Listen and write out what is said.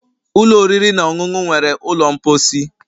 Ụlọ oriri na ọṅụṅụ nwere ụlọ mposi